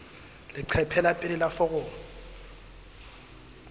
leqephe la pele la foromo